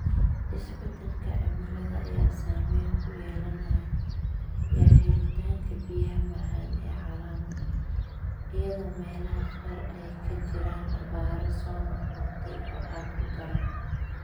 Isbadalka Cimilada ayaa saameyn ku yeelanaya helitaanka biyaha macaan ee caalamka, iyadoo meelaha qaar ay ka jiraan abaaro soo noqnoqday oo aad u daran.